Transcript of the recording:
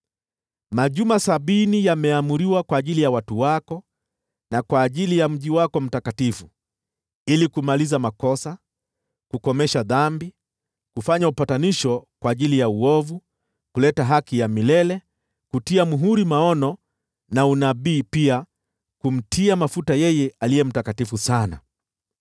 “Majuma sabini yameamriwa kwa ajili ya watu wako na kwa ajili ya mji wako mtakatifu, ili kumaliza makosa, kukomesha dhambi, kufanya upatanisho kwa ajili ya uovu, kuleta haki ya milele, kutia muhuri maono na unabii, na pia kumtia mafuta yeye aliye mtakatifu sana.